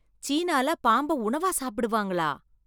சீனால பாம்ப உணவா சாப்பிடுவாங்களா?